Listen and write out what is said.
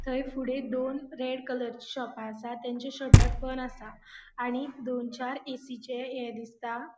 थय फुड़े दोन रेड कलरची शॉपा आसा तेंचे शटर बंद आसा आणि दोन चार ऐ.सी.चे ये दिसता.